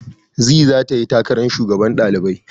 Zee zata yi takarar kujerar shugaban ɗalibai.